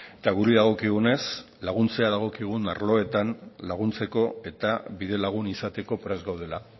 eta guri dagokigunez laguntzea dagokigun arloetan laguntzeko eta bide lagun izateko prest gaudela